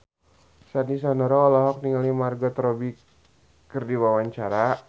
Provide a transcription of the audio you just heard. Sandy Sandoro olohok ningali Margot Robbie keur diwawancara